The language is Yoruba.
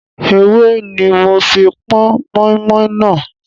Ewé ní mo fi pọn moinmoin náà.